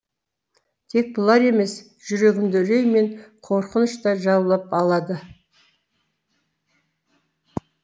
тек бұлар емес жүрегімді үрей мен қорқыныш та жаулап алады